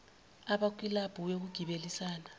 abakwi kilabhu yokugibelisana